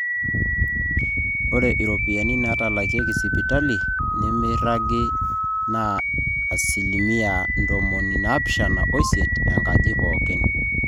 ore iropiyiani naatalakieki sipitali nemeiragi naa asilimia ntomoni naapishana oisiet enkaji pooki